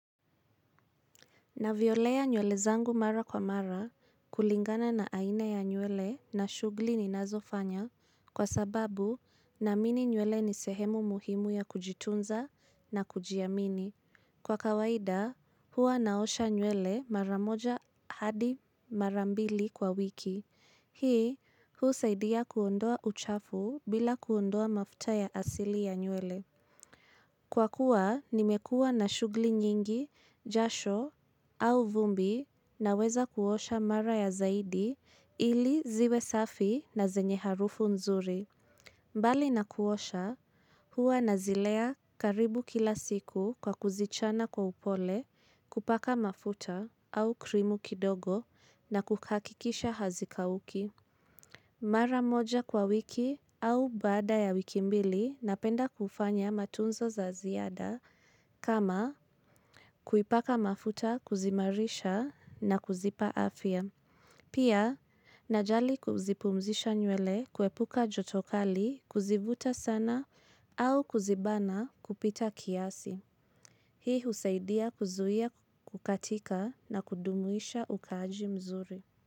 Navyolea nywele zangu mara kwa mara kulingana na aina ya nywele na shughuli ninazofanya kwa sababu naamini nywele ni sehemu muhimu ya kujitunza na kujiamini. Kwa kawaida, huwa naosha nywele mara moja hadi mara mbili kwa wiki. Hii, huu saidia kuondoa uchafu bila kuondoa mafuta ya asili ya nywele. Kwa kua, nimekua na shughuli nyingi, jasho au vumbi naweza kuosha mara ya zaidi ili ziwe safi na zenye harufu nzuri. Mbali na kuosha, huwa nazilea karibu kila siku kwa kuzichana kwa upole kupaka mafuta au krimu kidogo na kuhakikisha hazikauki. Mara moja kwa wiki au baada ya wiki mbili napenda kufanya matunzo za ziada kama kuipaka mafuta kuzimarisha na kuzipa afya. Pia, najali kuzipumzisha nywele kuepuka joto kali kuzivuta sana au kuzibana kupita kiasi. Hii husaidia kuzuia kukatika na kudumisha ukaji mzuri.